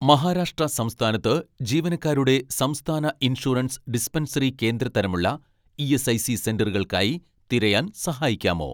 മഹാരാഷ്ട്ര സംസ്ഥാനത്ത് ജീവനക്കാരുടെ സംസ്ഥാന ഇൻഷുറൻസ് ഡിസ്പെൻസറി കേന്ദ്ര തരം ഉള്ള ഇ.എസ്.ഐ.സി സെന്ററുകൾക്കായി തിരയാൻ സഹായിക്കാമോ